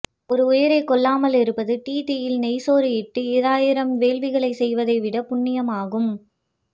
ஒரு உயிய்ரைக்கொல்லாமல் இருப்பது டீதீயில் நெய் சோறு இட்டு ஆஇயிரம் வேள்விகளைச் செய்வதைவிடப் புண்ணியமாகும்